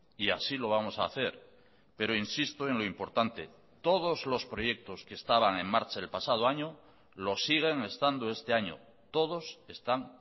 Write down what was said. y así lo vamos a hacer pero insisto en lo importante todos los proyectos que estaban en marcha el pasado año lo siguen estando este año todos están